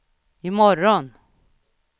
imorgon